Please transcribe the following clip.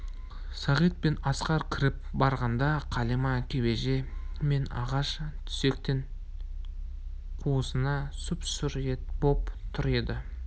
сағит пен асқар кіріп барғанда қалима кебеже мен ағаш төсектің қуысында сұп-сұр боп тұр еді